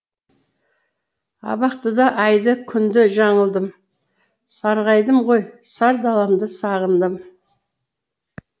абақтыда айды күнді жаңылдым сарғайдым ғой сар даламды сағындым